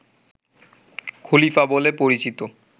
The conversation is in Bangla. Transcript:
খলিফা বলে পরিচিত